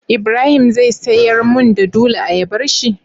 ibrahim zai siyar mun da dula ayabar shi?